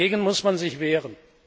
Dagegen muss man sich wehren!